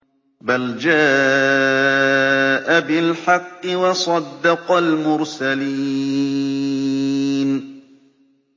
بَلْ جَاءَ بِالْحَقِّ وَصَدَّقَ الْمُرْسَلِينَ